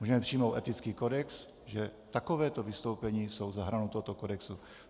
Můžeme přijmout etický kodex, že takováto vystoupení jsou za hranou tohoto kodexu.